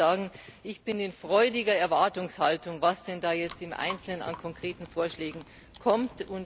Ich will nur sagen Ich bin in freudiger Erwartungshaltung, was denn da jetzt im Einzelnen an konkreten Vorschlägen kommt.